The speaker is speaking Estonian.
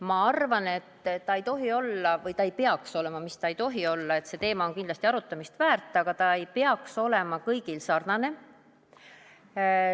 Ma arvan, et ta ei tohi olla – või ta ei peaks olema, see teema on kindlasti arutamist väärt – kõigil sarnane.